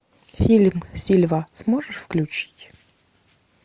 фильм сильва сможешь включить